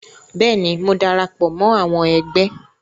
Bẹ́ẹ̀ ni, mo darapọ̀ mọ́ àwọn ẹgbẹ́